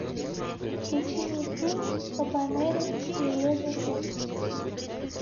включи мне фильм кабанери железной крепости